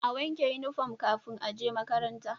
A wanke inufom kafin aje makaranta